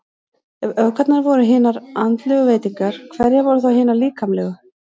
Ef öfgarnar voru hinar andlegu veitingar, hverjar voru þá hinar líkamlegu?